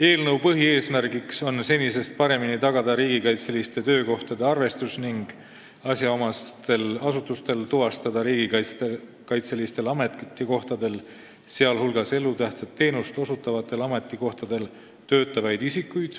Eelnõu põhieesmärk on senisest paremini tagada riigikaitseliste töökohtade arvestus ning see, et asjaomased asutused saaksid tuvastada riigikaitselistel ametikohtadel, sh elutähtsat teenust osutavatel ametikohtadel, töötavaid isikuid,